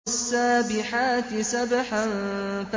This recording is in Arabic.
وَالسَّابِحَاتِ سَبْحًا